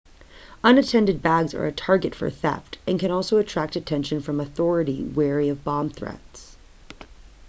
unattended bags are a target for theft and can also attract attention from authorities wary of bomb threats